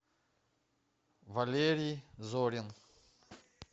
валерий зорин